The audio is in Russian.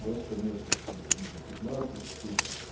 просто нету там я вижу пятнадцать штук